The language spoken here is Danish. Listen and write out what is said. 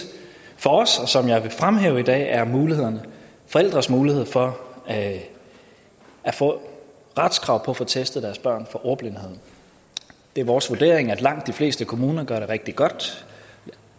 for os og som jeg vil fremhæve i dag er forældres mulighed for at få et retskrav på at få testet deres børn for ordblindhed det er vores vurdering at langt de fleste kommuner gør det rigtig godt